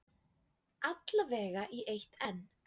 Alla vega í eitt enn.